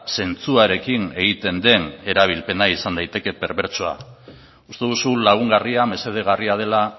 zentzuarekin egiten den erabilpena izan daiteke perbertsoa uste duzu lagungarria mesedegarria dela